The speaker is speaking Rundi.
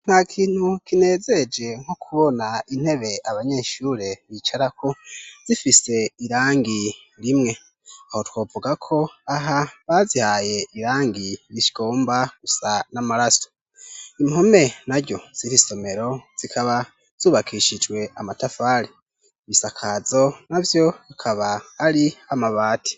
Nta kintu kinezeje nko kubona intebe abanyeshure bicarako zifise irangi rimwe aho twovuga ko aha bazihaye irangi rigomba gusa n'amaraso, impome naryo ziri somero zikaba zubakishijwe amatafari ibisakazo navyo bikaba ari amabati.